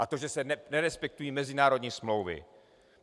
A to, že se nerespektují mezinárodní smlouvy.